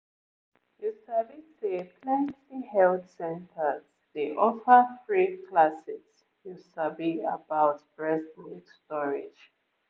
you sabi say plenty health centers dey offer free classes you sabi about breast milk storage